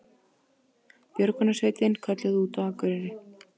Björgunarsveitin kölluð út á Akureyri